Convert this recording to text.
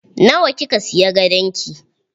Nawa kika siya gadon ki?